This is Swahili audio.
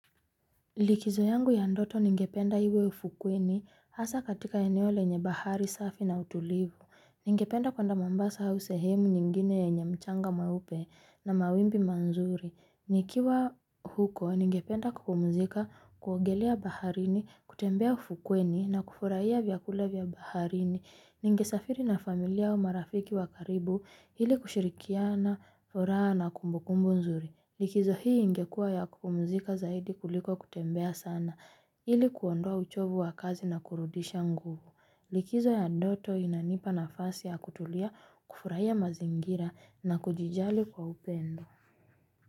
Likizo yangu ya ndoto ningependa iwe ufukweni, hasa katika eneo lenye bahari safi na utulivu. Ningependa kwenda Mombasa au sehemu nyingine yenye mchanga mweupe na mawimbi mazuri. Nikiwa huko ningependa kupumzika, kuogelea baharini, kutembea ufukweni na kufurahia vyakula vya baharini. Ningesafiri na familia, marafiki wa karibu ili kushirikiana furaha na kumbukumbu nzuri. Likizo hii ingekua ya kupumzika zaidi kuliko kutembea sana, ili kuondoa uchovu wa kazi na kurudisha nguvu. Likizo ya ndoto inanipa nafasi ya kutulia, kufurahia mazingira na kujijali kwa upendo.